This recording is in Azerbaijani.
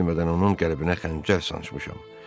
Özüm də bilmədən onun qəlbinə xəncər sancmışam.